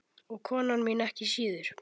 Og kona mín ekki síður.